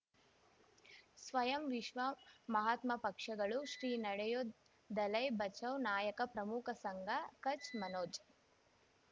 ಸ್ವಯಂ ವಿಶ್ವ ಮಹಾತ್ಮ ಪಕ್ಷಗಳು ಶ್ರೀ ನಡೆಯೂ ದಲೈ ಬಚೌ ನಾಯಕ ಪ್ರಮುಖ ಸಂಘ ಕಚ್ ಮನೋಜ್